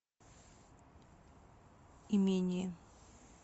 имение